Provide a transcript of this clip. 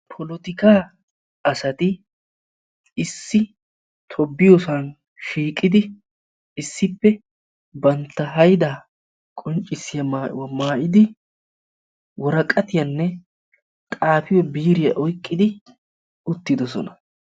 Polotikaa asati issi tobbiyosan shiiqidi issippe bantta hayda qonccissiya maayuwa mayyide woraqatiyaanne xaafiyo biiriyaa oyqqidi uttidoossona.